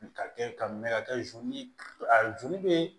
Ka kɛ ka mɛn ka kɛ a joli bɛ